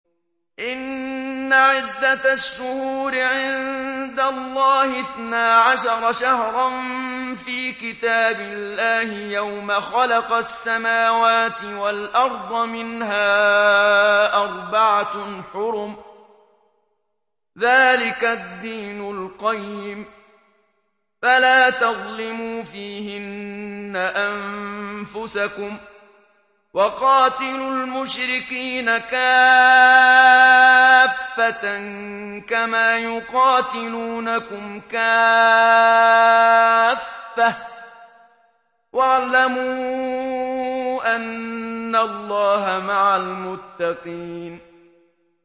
إِنَّ عِدَّةَ الشُّهُورِ عِندَ اللَّهِ اثْنَا عَشَرَ شَهْرًا فِي كِتَابِ اللَّهِ يَوْمَ خَلَقَ السَّمَاوَاتِ وَالْأَرْضَ مِنْهَا أَرْبَعَةٌ حُرُمٌ ۚ ذَٰلِكَ الدِّينُ الْقَيِّمُ ۚ فَلَا تَظْلِمُوا فِيهِنَّ أَنفُسَكُمْ ۚ وَقَاتِلُوا الْمُشْرِكِينَ كَافَّةً كَمَا يُقَاتِلُونَكُمْ كَافَّةً ۚ وَاعْلَمُوا أَنَّ اللَّهَ مَعَ الْمُتَّقِينَ